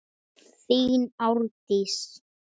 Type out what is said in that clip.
Þín Árdís.